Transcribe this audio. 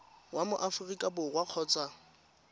wa mo aforika borwa kgotsa